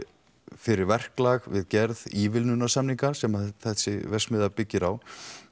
fyrir verklag við gerð sem að þessi verksmiðja byggir á